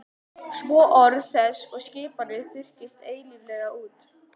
Svo orð þess og skipanir þurrkist eilíflega út.